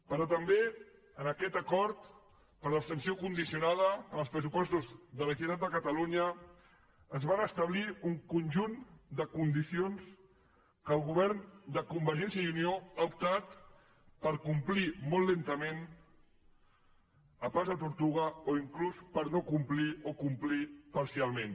però també en aquest acord per abstenció condicionada en els pressupostos de la generalitat de catalunya es van establir un conjunt de condicions que el govern de convergència i unió ha optat per complir molt lentament a pas de tortuga o inclús per no complir o complir parcialment